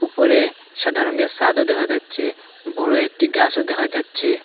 ওপরে সাদা রঙের সাদও দেখা যাচ্ছে বড় একটি গাসও দেখা যাচ্ছে।